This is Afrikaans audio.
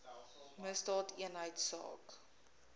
misdaadeenheidsaak